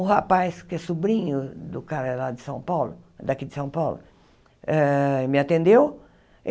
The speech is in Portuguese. O rapaz, que é sobrinho do cara lá de São Paulo, daqui de São Paulo, ah me atendeu.